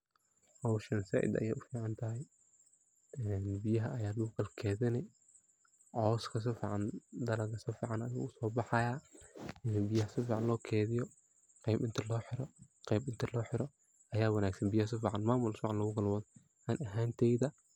Hoshan said ayay uficantahaya oo biyaha aya lagu kala kedinah dalaga sifican ayu usobaxayah marki biyaha sifican lokediyo qeb inta loxiro, qeb inta loxiro aya wanagsan biyah mamul fican biyah sifican lokalaxiro ani ahan teydha.